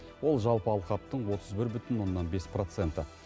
ол жалпы алқаптың отыз бір бүтін оннан бес проценті